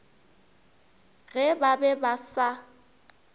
ge ba be ba sa